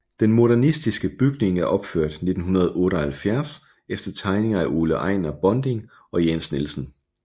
Den modernistiske bygning er opført 1978 efter tegninger af Ole Ejnar Bonding og Jens Nielsen